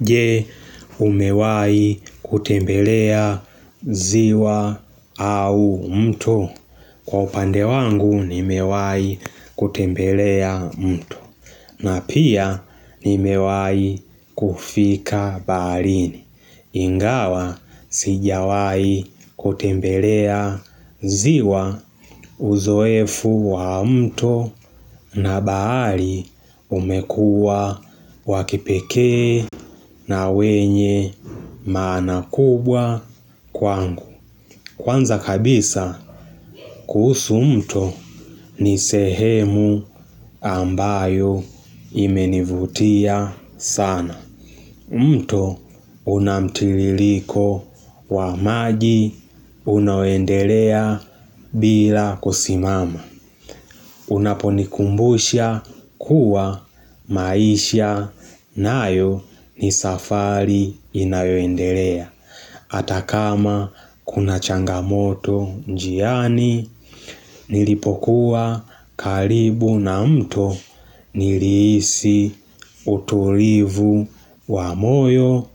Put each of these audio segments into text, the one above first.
Je umewahi kutembelea ziwa au mtu.? Kwa upande wangu nimewahi kutembelea mto na pia nimewahi kufika baharini Ingawa sijawahi kutembelea ziwa uzoefu wa mto na bahari umekuwa wakipekee na wenye maana kubwa kwangu. Kwanza kabisa kuhusu mto ni sehemu ambayo imenivutia sana. Je umewai kutembelea ziwa au mto? Kwa upande wangu nimewahi kutembelea mto hata kama kuna changamoto njiani nilipokuwa karibu na mto nilihisi utulivu wa moyo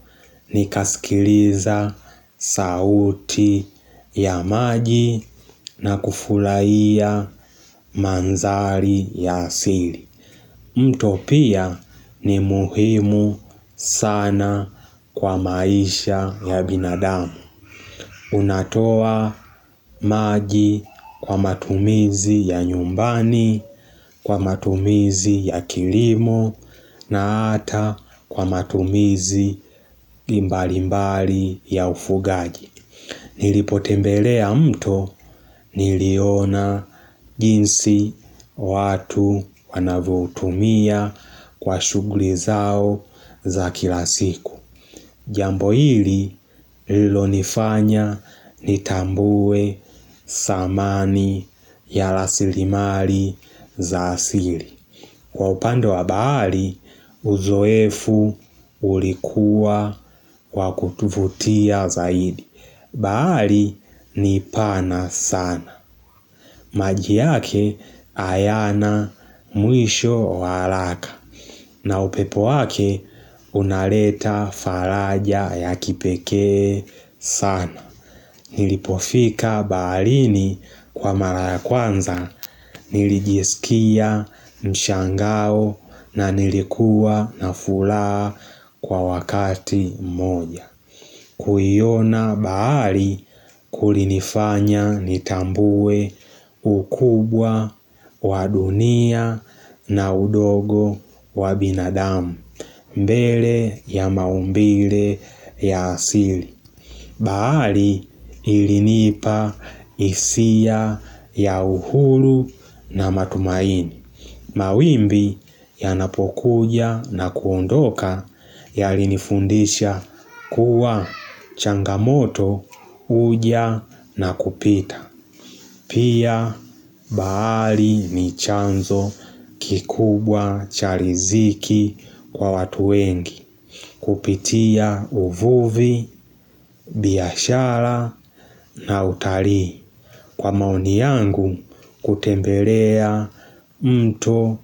nikasikiliza sauti ya maji na kufurahia mandhari ya asili. Mto pia ni muhimu sana kwa maisha ya binadamu unatoa maji kwa matumizi ya nyumbani, kwa matumizi ya kilimo na hata kwa matumizi mbalimbali ya ufugaji. Nilipotembelea mto niliona jinsi watu wanavyoutumia kwa shughuli zao za kila siku. Jambo hili lililonifanya nitambue thamani ya rasilimali za asili kwa upande wa bahari uzoefu ulikuwa wa kutuvutia zaidi. Bahari ni pana sana maji yake hayana mwisho wa haraka na upepo wake unaleta faraja ya sana, nilipofika baharini kwa mara ya kwanza nilijisikia mshangao na nilikuwa na furaha kwa wakati mmoja kuiona bahari kulinifanya nitambue ukubwa wa dunia na udogo wa binadamu mbele ya maumbile ya asili. Bahari ilinipa hisia ya uhuru na matumaini, mawimbi yanapokuja na kuondoka yalinifundisha kuwa changamoto huja na kupita Pia bahari ni chanzo kikubwa cha ridhiki kwa watu wengi kupitia uvuvi, biashara, na utalii. Kwa maoni yangu kutembelea mto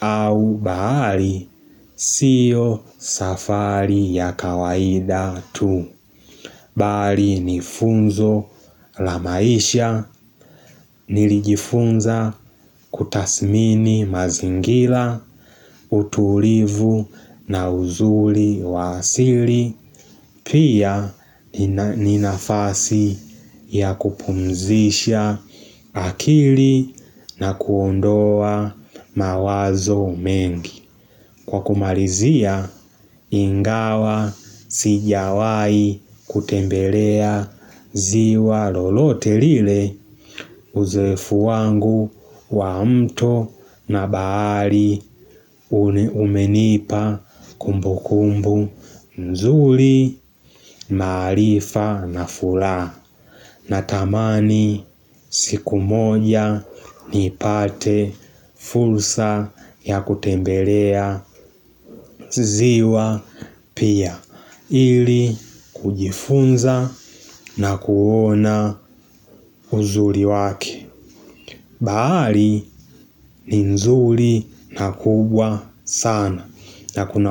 au bahari sio safari ya kawaida tu. Bali ni funzo la maisha, nilijifunza kutathimini mazingira, utulivu na uzuri wa asili Pia ni nafasi ya kupumzisha akili na kuondoa mawazo mengi. Kwa kumalizia ingawa sijawahi kutembelea ziwa lolote lile uzoefu wangu wa mto na bahari ume Umenipa kumbukumbu nzuri, maarifa na furaha. Natamani siku moja nipate fursa ya kutembelea ziwa pia, ili kujifunza na kuona uzuri wake bahari ni nzuri na kubwa sana, na kuna.